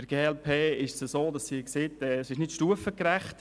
Die glp sagt, die Forderung sei nicht stufengerecht.